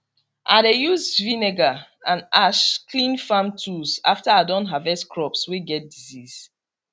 i dey use vinegar and ash clean farm tools after i don harvest crops way get disease